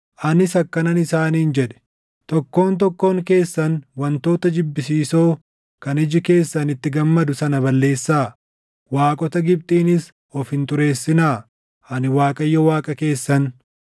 Anis akkanan isaaniin jedhe; “Tokkoon tokkoon keessan wantoota jibbisiisoo kan iji keessan itti gammadu sana balleessaa; waaqota Gibxiinis of hin xureessinaa. Ani Waaqayyo Waaqa keessan.”